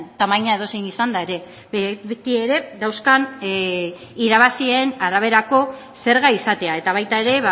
tamaina edozein izanda ere beti ere dauzkan irabazien araberako zerga izatea eta baita ere